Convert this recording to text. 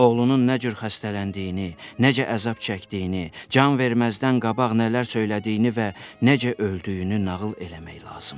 Oğlunun nə cür xəstələndiyini, necə əzab çəkdiyini, can verməzdən qabaq nələr söylədiyini və necə öldüyünü nağıl eləmək lazımdır.